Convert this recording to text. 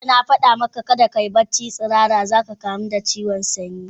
Jiya na fada maka, kada kayi barci tsirara za ka kamu da sanyi.